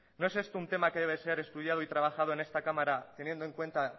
no es esto un tema que debe ser estudiado y trabajado en esta cámara teniendo en cuenta